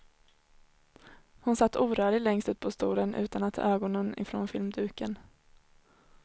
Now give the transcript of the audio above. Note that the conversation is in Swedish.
Hon satt orörlig längst ut på stolen utan at ta ögonen ifrån filmduken.